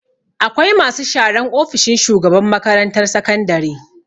Akwai masu sharan ofishin shugaban makarantar sakandare.